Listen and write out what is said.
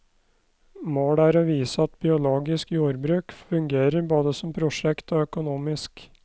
Målet er å vise at biologisk jordbruk fungerer både som prosjekt og økonomisk.